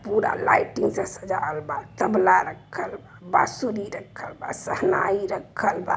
पूरा लाइटिंग से सजावल बा | रक्खल बांसुरी रक्खल बा शहनाई रक्खल बा |